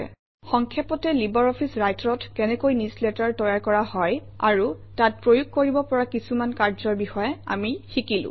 সংক্ষেপতে Libre office Writer অত কেনেকৈ newsletter তৈয়াৰ কৰা হয় আৰু তাত প্ৰয়োগ কৰিব পৰা কিছু কাৰ্যৰ বিষয়ে আমি শিকিলো